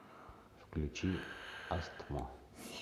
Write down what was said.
включи астмо